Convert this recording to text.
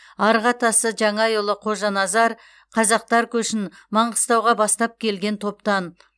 арғы атасы жаңайұлы қожаназар қазақтар көшін маңғыстауға бастап келген топтан